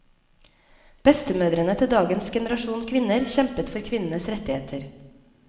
Bestemødrene til dagens generasjon kvinner kjempet for kvinnenes rettigheter.